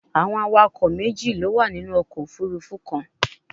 Awọn awakọ meji lo wa ninu ọkọ ofurufu kan